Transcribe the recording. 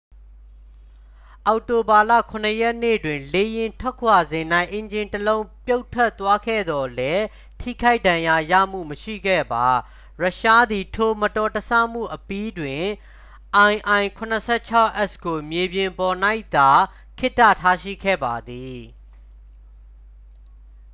အောက်တိုဘာလ 7 ရက်နေ့တွင် လေယာဉ်ထွက်ခွာစဉ်၌ အင်ဂျင်တစ်လုံး ပြုတ်ထွက်သွားခဲ့သော်လည်း ထိခိုက်ဒဏ်ရာရမှုမရှိခဲ့ပါ ရုရှားသည် ထိုမတော်တဆမှုအပြီးတွင် il-76s ကို မြေပြင်ပေါ်၌သာ ခေတ္တထားရှိခဲ့ပါသည်